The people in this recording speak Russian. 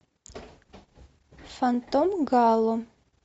фантом гало